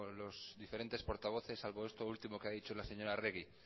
los diferentes portavoces salvo esto último que ha dicho la señora arregi